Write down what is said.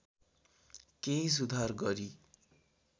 केही सुधार गरी